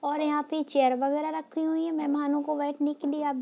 और यहां पे चेयर वगैरा रखी हुई हैं मेहमानो को बैठने के लिए आप --